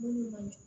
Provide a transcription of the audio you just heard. Mun man